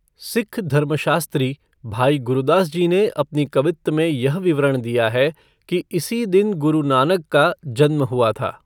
सिक्ख धर्मशास्त्री भाई गुरदास जी ने अपनी कबित्त में यह विवरण दिया है कि इसी दिन गुरु नानक का जन्म हुआ था।